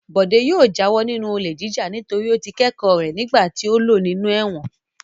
Bọ̀dé yóò jáwọ́ nínú olè jíjà nítorí ó ti kẹ́kọ̀ọ́ rẹ̀ nígbà tí ó lò nínú ẹ̀wọ̀n.